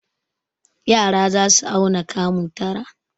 Yara za su auna kamu tara.